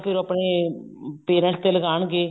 ਫੇਰ ਉਹ ਆਪਨੇ parents ਦੇ ਲਗਾਨਗੇ